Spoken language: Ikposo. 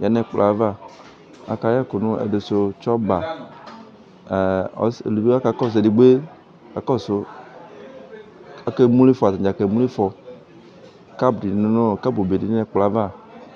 ya nu ɛkplɔ yɛ ava akayɛ ɛku nu ɛdinisu tsɔmba eluvi kakɔsu edigbo kakɔsu akemlo ifɔ atadza kemlo ifɔ kabl be di ya nu ɛkplɔ yɛ ava